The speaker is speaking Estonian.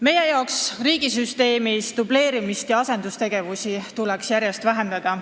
Meie arvates tuleks riigisüsteemis dubleerimist ja asendustegevusi järjest vähendada.